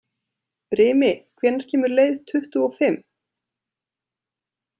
Brimi, hvenær kemur leið tuttugu og fimm?